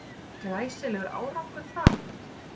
Glæsilegur árangur það